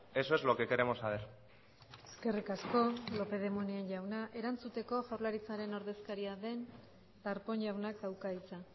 eso es lo que queremos saber eskerrik asko lópez de munain jaunak erantzuteko jaurlaritzaren ordezkaria den darpón jaunak dauka hitza